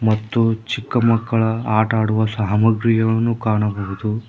ಮತ್ತು ಚಿಕ್ಕಮಕ್ಕಳ ಆಟ ಆಡುವ ಸಾಮಾಗ್ರಿಗಳನ್ನು ಕಾಣಬಹುದು.